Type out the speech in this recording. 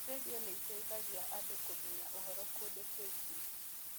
Redio nĩ ĩteithagia andũ kũmenya ũhoro kũndũ kũingĩ.